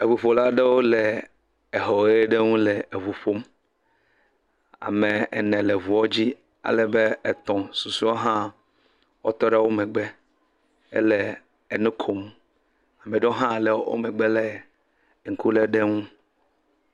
Eŋuƒola aɖewo le exɔ ʋe ɖe ŋu le eŋu ƒom. Ame ene le ŋuɔ dzi alebe etɔ̃ susuewo hã wotɔ ɖe woƒe megbe hele enu kom. Ame ɖewo hã le wo megbe le ŋku lém ɖe ŋu.